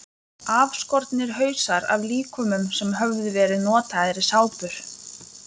Afskornir hausar af líkömum sem höfðu verið notaðir í sápur.